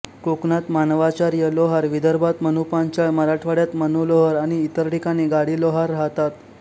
कोकणात मानवाचार्य लोहार विदर्भात मनुपांचाळ मराठवाड्यात मनुलोहार आणि इतर ठिकाणी गाडीलोहार राहतात